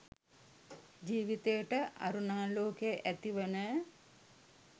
ජීවිතයට අරුණාලෝකය ඇතිවන